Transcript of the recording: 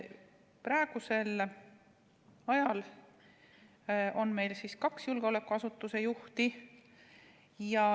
Praegu on meil kaks julgeolekuasutuse juhti.